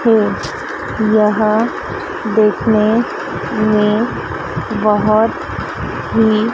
है यह देखने में बहोत ही--